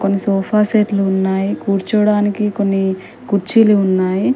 సోఫాసెట్లు ఉన్నాయి కూర్చోడానికి కొన్ని కుర్చీలు ఉన్నాయి.